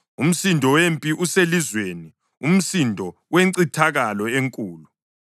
Umsindo wempi uselizweni, umsindo wencithakalo enkulu!